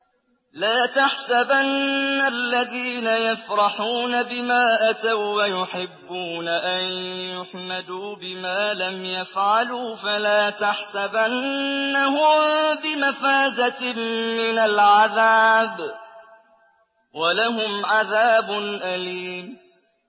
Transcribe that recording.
لَا تَحْسَبَنَّ الَّذِينَ يَفْرَحُونَ بِمَا أَتَوا وَّيُحِبُّونَ أَن يُحْمَدُوا بِمَا لَمْ يَفْعَلُوا فَلَا تَحْسَبَنَّهُم بِمَفَازَةٍ مِّنَ الْعَذَابِ ۖ وَلَهُمْ عَذَابٌ أَلِيمٌ